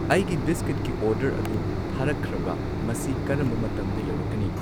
ꯑꯩꯒꯤ ꯕꯤꯁꯀ꯭ꯋꯤꯠꯀꯤ ꯑꯣꯔꯗꯔ ꯑꯗꯨ ꯊꯥꯔꯛꯈ꯭ꯔꯕ꯭ꯔꯥ ꯃꯁꯤ ꯀꯔꯝꯕ ꯃꯇꯝꯗ ꯌꯧꯔꯛꯀꯅꯤ